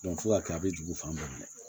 fo ka kɛ a bɛ jigi fan bɛɛ